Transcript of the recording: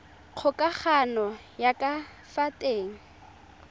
kgokagano ya ka fa teng